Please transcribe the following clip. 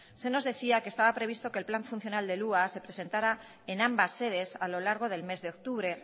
se nos decía que estaba previsto que el plan funcional del hua se presentara en ambas sedes a lo largo del mes de octubre